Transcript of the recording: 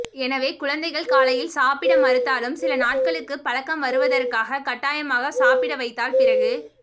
எனவே குழந்தைகள் காலையில் சாப்பிட மறுத்தாலும் சில நாட்களுக்கு பழக்கம் வருவதற்காக கட்டாயமாக சாப்பிட வைத்தால் பிறகு